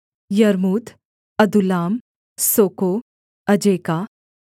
यर्मूत अदुल्लाम सोको अजेका